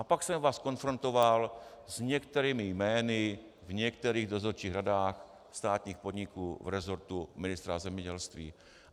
A pak jsem vás konfrontoval s některými jmény v některých dozorčích radách státních podniků v resortu ministra zemědělství.